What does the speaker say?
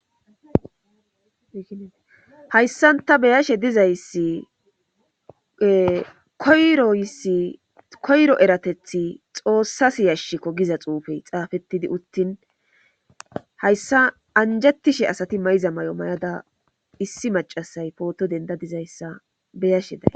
Hayssanta beyashe dizayssi koyro eratethi xoossas yashko giza xuufey xaafettidi uttin hayssa anjatishe asati mayiza may7o may7ada issi macasay pooto denda dizayssa beyashe day